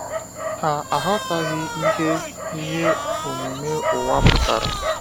Ha aghọtaghị ihe ihe omume ụwa pụtara.